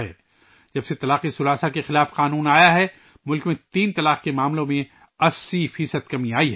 جب سے تین طلاق کے خلاف قانون نافذ ہوا ہے، ملک میں تین طلاق کے معاملات میں 80 فی صد کمی آئی ہے